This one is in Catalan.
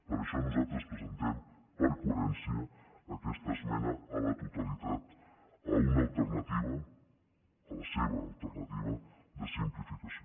per això nosaltres presentem per coherència aquesta esmena a la totalitat a una alternativa a la seva alternativa de simplificació